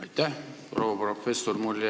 Aitäh, proua professor!